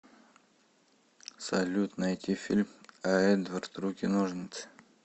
салют найти фильм а эдвард руки ножницы